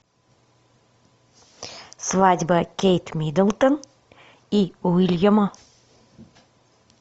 свадьба кейт миддлтон и уильяма